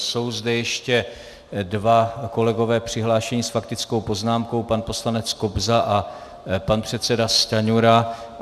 Jsou zde ještě dva kolegové přihlášení s faktickou poznámkou, pan poslanec Kobza a pan předseda Stanjura.